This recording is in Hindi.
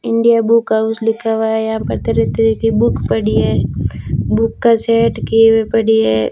इंडिया बुक हाउस लिखा हुआ है यहां पर तरह तरह की बुक पड़ी है बुक का सेट किए हुए पड़ी है।